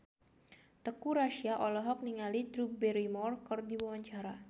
Teuku Rassya olohok ningali Drew Barrymore keur diwawancara